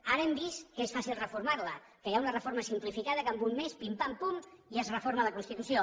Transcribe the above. ara hem vist que és fàcil reformar la que hi ha una reforma simplificada que en un mes pim pampum i es reforma la constitució